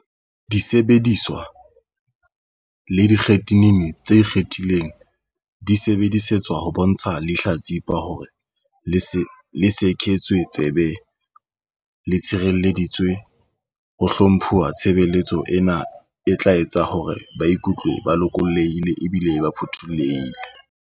Disebediswa le ditekgenini tse ikgethileng di sebedisetswa ho bontsha lehla-tsipa hore le sekehetswe tsebe, le tshirelleditswe le ho hlomphuwa. Tshebeletso ena e tla etsa hore ba ikutlwe ba lokollohile ebile ba phuthollohile.